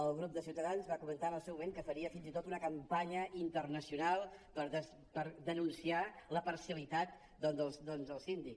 el grup de ciutadans va comentar en el seu moment que faria fins i tot una campanya internacional per denunciar la parcialitat del síndic